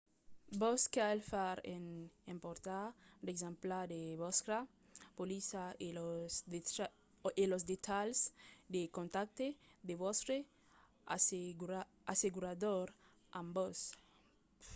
vos cal far e emportar d'exemplars de vòstra polissa e los detalhs de contacte de vòstre assegurador amb vos